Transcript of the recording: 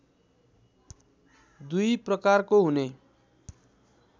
दुई प्रकारको हुने